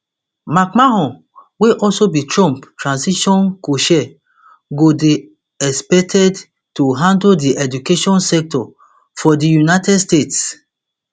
mcmahon wey also be trump transition cochair go dey expected to handle di education sector for di united states